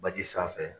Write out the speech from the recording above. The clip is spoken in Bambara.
Baji sanfɛ